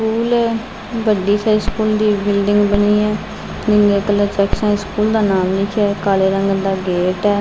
School ਹੈ ਬੱਡੀ ਸਾਰੀ ਸਕੂਲ ਦੀ ਬਿਲਡਿੰਗ ਬਣੀ ਹੈ ਨੀਲੇ ਕਲਰ ਚ ਸਕੂਲ ਦਾ ਨਾਮ ਲਿਖਿਆ ਕਾਲੇ ਰੰਗ ਦਾ ਗੇਟ ਹੈ।